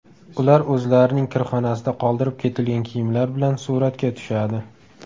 Ular o‘zlarining kirxonasida qoldirib ketilgan kiyimlar bilan suratga tushadi.